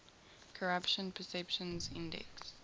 corruption perceptions index